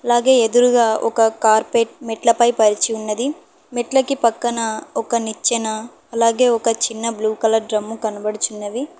అలాగే ఎదురుగా ఒక కార్పెట్ మెట్లపై పరిచి ఉన్నది మెట్లకి పక్కన ఒక నిచ్చెన అలాగే ఒక చిన్న బ్లూ కలర్ డ్రమ్ము కనబడుచున్నవి